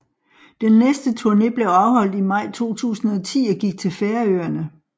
Den næste turne blev afholdt i maj 2010 og gik til Færøerne